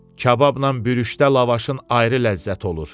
Kababla bürüşdə lavaşın ayrı ləzzəti olur.